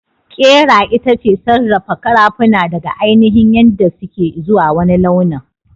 Ƙera itace sarrafa karafuna daga ainihin yadda suke izuwa wani launin.